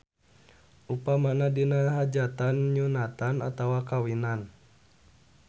Upamana dina hajatan nyunatan atawa kawinan.